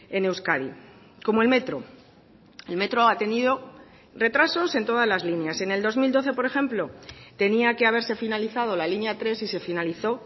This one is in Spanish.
en euskadi como el metro el metro ha tenido retrasos en todas las líneas en el dos mil doce por ejemplo tenía que haberse finalizado la línea tres y se finalizó